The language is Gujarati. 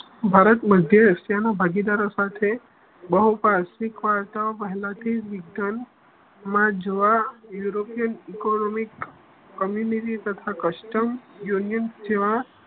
ભારત મધ્ય એશિયાનો ભાગીદારો સાથે પહેલાથી વિજ્ઞાનમાં જોવા યુરોપિયન ઇકોનોમિક કમ્યુનિટી તથા કસ્ટમ યુનિયન સેવા